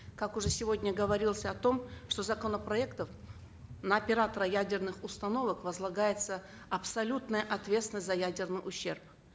как уже сегодня говорилось о том что законопроектом на оператора ядерных установок возлагается абсолютная ответственность за ядерный ущерб